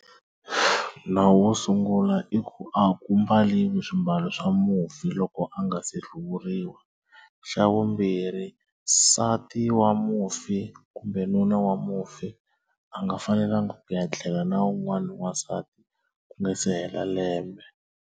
Nawu wo sungula i ku a ku mbaliwi swimbalo swa mufi loko a nga se hluvuriwa xa vumbirhi nsati wa mufi kumbe nuna wa mufi a nga fanelangi ku ya tlela na wun'wana wansati ku nga se hela lembe.